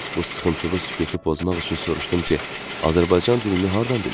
Bu sıxıntılı sükutu pozmaq üçün soruşdum ki, Azərbaycan dilini hardan bilir?